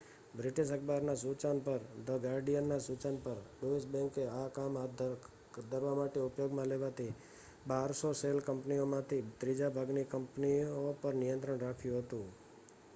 "British અખબારના સૂચન પર "ધ ગાર્ડિયન" ના સૂચન પર ડોઇશ બેન્કે આ કામ હાથ ધરવા માટે ઉપયોગમાં લેવાતી 1200 શેલ કંપનીઓમાંથી ત્રીજા ભાગની કંપનીઓ પર નિયંત્રણ રાખ્યું હતું.